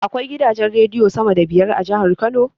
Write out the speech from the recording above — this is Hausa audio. Akwai gidajen rediyo sama da biyar a jahar kano